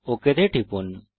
okay তে টিপুন